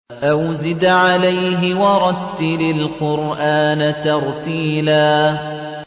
أَوْ زِدْ عَلَيْهِ وَرَتِّلِ الْقُرْآنَ تَرْتِيلًا